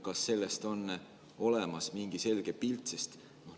Kas sellest on olemas mingi selge pilt?